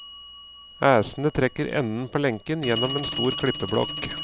Æsene trekker enden på lenken gjennom en stor klippeblokk.